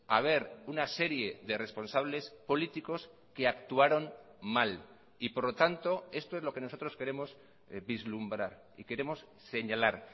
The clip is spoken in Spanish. haber una serie de responsables políticos que actuaron mal y por lo tanto esto es lo que nosotros queremos vislumbrar y queremos señalar